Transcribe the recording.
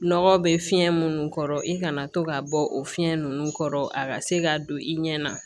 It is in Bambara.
Nɔgɔ bɛ fiɲɛ minnu kɔrɔ i kana to ka bɔ o fiɲɛ ninnu kɔrɔ a ka se ka don i ɲɛ na